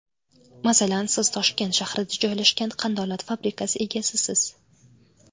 Masalan, siz Toshkent shahrida joylashgan qandolat fabrikasi egasisiz.